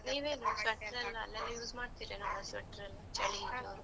.